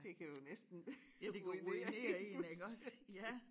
Det kan jo næsten ruinere en fuldstændig